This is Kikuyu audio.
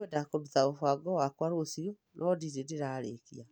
Nĩ ngwenda kũruta mũbango wakwa rũciũ, no ndirĩ ndĩrarĩkia.